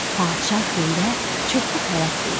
Padşah xeyrə çoxlu xələt verdi.